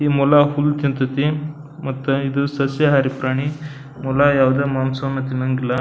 ಈ ಮೊಲ ಹುಲ್ ತಿಂಥತಿ ಮತ್ ಇದು ಸಸ್ಯ ಹಾರಿ ಪ್ರಾಣಿ ಮೊಲ ಯಾವ್ದೇ ಮಾಂಸವನ್ನು ತಿನ್ನಂಗಿಲ್ಲ.